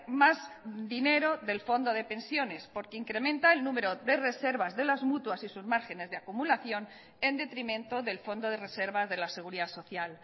más dinero del fondo de pensiones porque incrementa el número de reservas de las mutuas y sus márgenes de acumulación en detrimento del fondo de reservas de la seguridad social